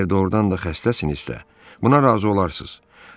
Əgər doğurdan da xəstəsinizsə, buna razı olarsınız.